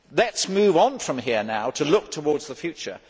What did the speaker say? Let us move on from here and look towards the future.